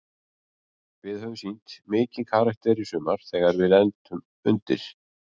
Við höfum sýnt mikinn karakter í sumar þegar við lendum undir.